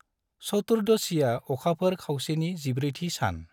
चतुर्दशीआ अखाफोर खावसेनि जिब्रैथि सान।